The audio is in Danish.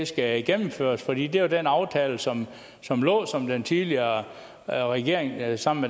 skal gennemføres for det var jo den aftale som som lå som den tidligere regering sammen